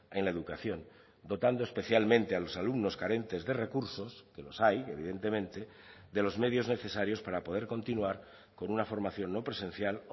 en la educación dotando especialmente a los alumnos carentes de recursos que los hay evidentemente de los medios necesarios para poder continuar con una formación no presencial